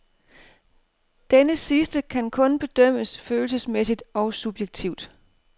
Denne sidste kan kun bedømmes følelsesmæssigt og subjektivt.